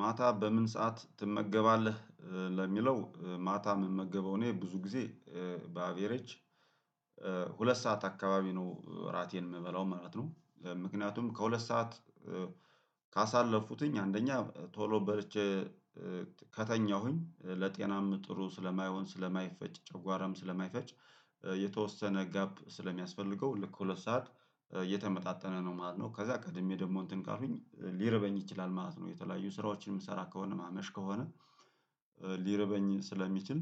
ማታ በምን ሰዓት ትመገባለህ? ለሚለው ማታ ምመገበው እኔ ብዙ ጊዜ በአቬሬጅ ሁለት ሰዓት አካባቢ ነው እራቴን የምበላው ማለት ነው። ምክንያቱም ከሁለት ሰዓት ካሳለፍኩትኝ አንደኛ ቶሎ በልቼ ከተኛሁኝ ለጤናም ጥሩ ስለማይሆን፣ ስለማይፈጭ፤ ጨጓራም ስለማይፈጭ የተወሰነ ጋፕ ስለሚያስፈልገው ልክ ሁለት ሰዓት እየተመጣጠነ ነው ማለት ነው። ከዛ ቀድሜ ደግሞ እንትን ካሉኝ ሊረበኝ ይችላል ማለት ነው፣ የተለያዩ ስራዎችን የምሰራ ከሆነ፣ ማመሽ ከሆነ ሊርበኝ ስለሚችል